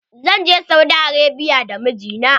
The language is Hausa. Zan je Saudi Arabia da mijina.